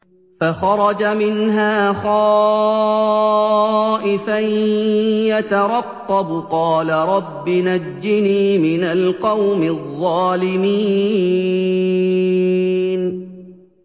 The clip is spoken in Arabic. فَخَرَجَ مِنْهَا خَائِفًا يَتَرَقَّبُ ۖ قَالَ رَبِّ نَجِّنِي مِنَ الْقَوْمِ الظَّالِمِينَ